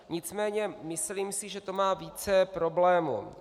Nicméně myslím si, že to má více problémů.